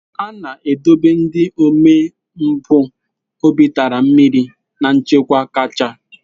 A na-edobe ndị omempụ obi tara mmiri na nchekwa kacha.